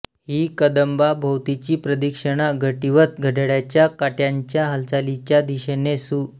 ही कदंबाभोवतीची प्रदक्षिणा घटिवत् घड्याळाच्या काट्यांच्या हालचालीच्या दिशेने सु